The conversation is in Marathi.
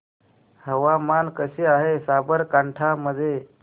हवामान कसे आहे साबरकांठा मध्ये